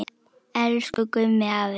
Elsku Gummi afi.